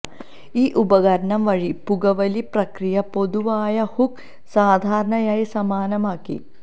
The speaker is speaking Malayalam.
ഈ ഉപകരണം വഴി പുകവലി പ്രക്രിയ പൊതുവായ ഹുക്ക് സാധാരണയായി സമാനമാണ്